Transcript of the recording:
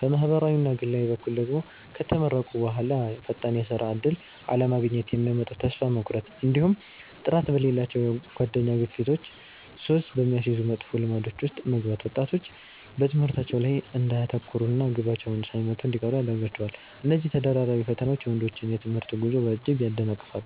በማኅበራዊና ግላዊ በኩል ደግሞ፣ ከተመረቁ በኋላ ፈጣን የሥራ ዕድል አለማግኘት የሚያመጣው ተስፋ መቁረጥ፣ እንዲሁም ጥራት በሌላቸው የጓደኛ ግፊቶችና ሱስ በሚያስይዙ መጥፎ ልማዶች ውስጥ መግባት ወጣቶች በትምህርታቸው ላይ እንዳያተኩሩና ግባቸውን ሳይመቱ እንዲቀሩ ያደርጋቸዋል። እነዚህ ተደራራቢ ፈተናዎች የወንዶችን የትምህርት ጉዞ በእጅጉ ያደናቅፋሉ።